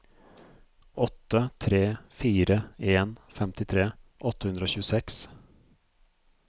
åtte tre fire en femtitre åtte hundre og tjueseks